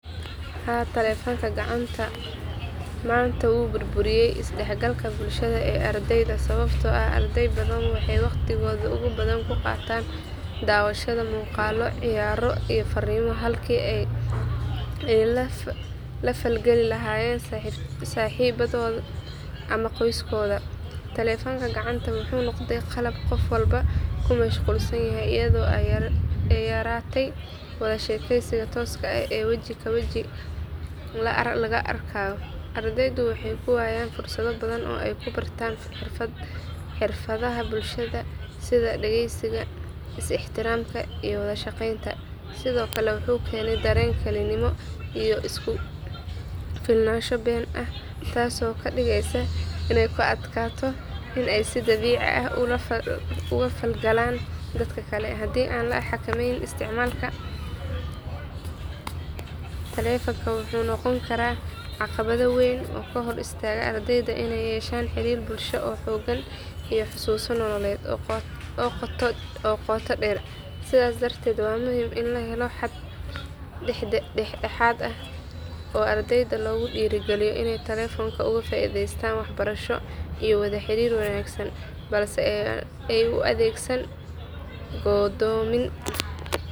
Haa, talefonka gacanta manta wuu burburiye is dhaxgalka bulshada ee ardeyda ee sababto ah ardey badan waxay waqtigada ugu badan kuqaatan daawashada muqaalo ciyaaro iyo faariimo halkii ay la fal geli lahayeen saxiibadooda ama qoyskoda, talefonka gacanta wuxuu noqde qalab qof walba kumashqulsan yahay ayado ay yaratay wada sheekeysiga tooska ah ee weji ka weji laga arkayo, ardeydu waxay kuwayaan fursado badan oo ay kubartan xirfadaha bulshada sida dhageysiga, is ixtiramka iyo wada shaqeynta sidokale wuxuu keene dareen Keli nimo iyo isku filnaasho Ben ah, taaso kadhigeyso inay ku adkaato inay si dabici ah oga falgalan dadka kale hadii an la xakameynin isticmaalka talefonka wuxuu noqoni karaa aqabado weyn oo kahor istaga ardeyda inay yeshtan xirir bulsha oo xoogan iyo xasuusin nololeed oo qoto dheer ,sida darteed waa muhiim in la helo xad dhadhaxad ah oo ardeyda loogu dhiri geliyo inay talefonka oga faa'iidaystan wax barasho iyo wada xarir wanaagsan balse ay u adeegsan goodoomin